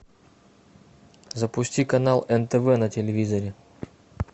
запусти канал нтв на телевизоре